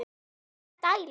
Enga stæla!